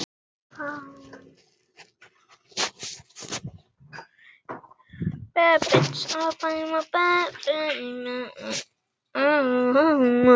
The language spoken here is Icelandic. Það stóð í tvær vikur.